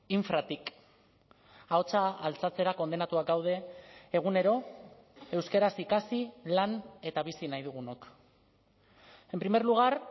infratik ahotsa altxatzera kondenatuak gaude egunero euskaraz ikasi lan eta bizi nahi dugunok en primer lugar